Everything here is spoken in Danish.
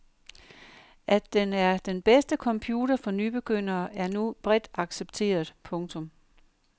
At den er den bedste computer for nybegyndere er nu bredt accepteret. punktum